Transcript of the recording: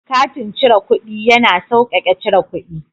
Katin cire kuɗi ya na sauƙaƙe cire kuɗi.